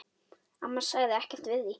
Amma sagði ekkert við því.